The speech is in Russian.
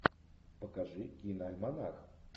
покажи киноальманах